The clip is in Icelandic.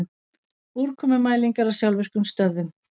Úrkomumælingar á sjálfvirkum stöðvum